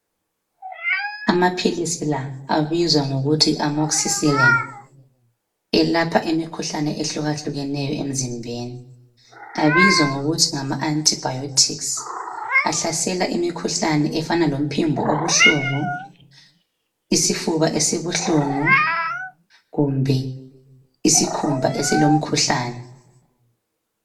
Amaphilisi la abizwa ngokuthi amoxicilin elapha imikhuhlane ehlukahlukeneyo emzimbeni abizwa ngokuthi ngama antibiotic ahlasela imikhuhlane efana lomphimbo obuhlungu, isifuba esibuhlungu kumbe isikhumba esilomkhuhlane.